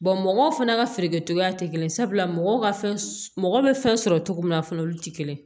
mɔgɔw fana ka feerekɛcogoya tɛ kelen ye sabula mɔgɔw ka fɛn mɔgɔ bɛ fɛn sɔrɔ cogo min na a fana olu tɛ kelen ye